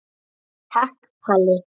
Takk Palli.